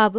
अब